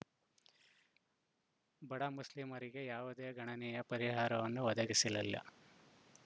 ಬಡ ಮುಸ್ಲಿಮರಿಗೆ ಯಾವುದೇ ಗಣನೀಯ ಪರಿಹಾರವನ್ನು ಒದಗಿಸಲಿಲ್ಲ